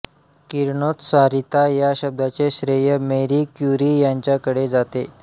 किरणोत्सारीता या शब्दाचे श्रेय मेरी क्युरी यांच्याकडे जाते